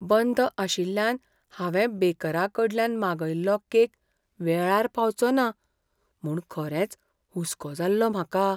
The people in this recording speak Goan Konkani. बंद आशिल्ल्यान हांवें बेकराकडल्यान मागयल्लो केक वेळार पावचो ना म्हूण खरेंच हुसको जाल्लो म्हाका.